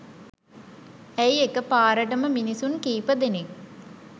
ඇයි එකපාරටම මිනිසුන් කීප දෙනෙක්